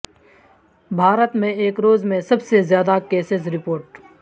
بھارت میں ایک روز میں سب سے زیادہ کیسز رپورٹ